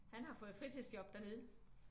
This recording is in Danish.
Han har fået fritidsjob dernede